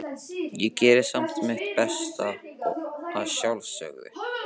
Ég geri samt mitt besta, að sjálfsögðu.